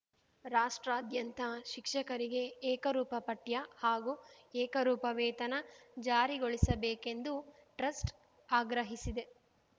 ರಾಸ್ಟ್ರಾದ್ಯಂತ ಶಿಕ್ಷಕರಿಗೆ ಏಕರೂಪ ಪಠ್ಯ ಹಾಗೂ ಏಕರೂಪ ವೇತನ ಜಾರಿಗೊಳಿಸಬೇಕೆಂದು ಟ್ರಸ್ಟ್‌ ಆಗ್ರಹಿಸಿದೆ